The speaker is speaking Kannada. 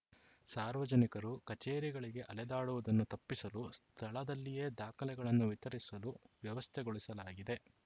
ಸಾರ್ವಜನಿಕರು ಕಚೇರಿಗಳಿಗೆ ಅಲೆದಾಡುವುದನ್ನು ತಪ್ಪಿಸಲು ಸ್ಥಳದಲ್ಲಿಯೇ ದಾಖಲೆಗಳನ್ನು ವಿತರಿಸಲು ವ್ಯವಸ್ಥೆಗೊಳಿಸಲಾಗಿದೆ